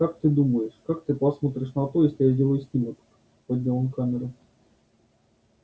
как ты думаешь как ты посмотришь на то если я сделаю снимок поднял он камеру